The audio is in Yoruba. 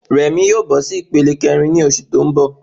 Rẹ̀mí yóò bọ sí ìpele kẹrin ni oṣù tó n bọ